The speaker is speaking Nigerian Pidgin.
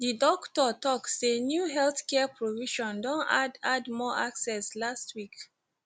di doktor tok say new healthcare provision don add add more access last week